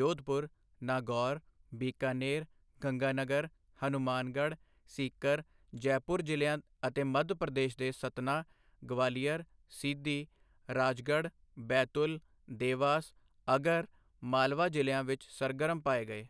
ਜੋਧਪੁਰ, ਨਾਗੌਰ, ਬੀਕਾਨੇਰ, ਗੰਗਾਨਗਰ, ਹਨੂਮਾਨਗੜ੍ਹ, ਸੀਕਰ, ਜੈਪੁਰ ਜ਼ਿਲ੍ਹਿਆਂ ਅਤੇ ਮੱਧ ਪ੍ਰਦੇਸ਼ ਦੇ ਸਤਨਾ, ਗਵਾਲੀਅਰ, ਸੀਧੀ, ਰਾਜਗੜ੍ਹ, ਬੈਤੁਲ, ਦੇਵਾਸ, ਅਗਰ ਮਾਲਵਾ ਜ਼ਿਲ੍ਹਿਆਂ ਵਿੱਚ ਸਰਗਰਮ ਪਾਏ ਗਏ।